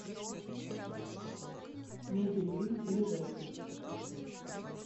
мебельвилль ближайший